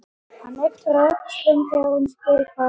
Hann ypptir öxlum þegar hún spyr hvað hann vilji gera.